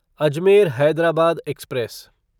Ajmer Hyderabad express